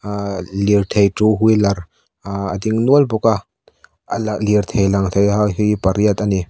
ah lirthei two wheeler ahh a ding nual bawk a a la lirthei lang thei ho hi pariat ani.